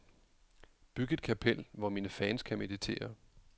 Byg et kapel, hvor mine fans kan meditere.